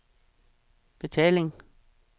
betaling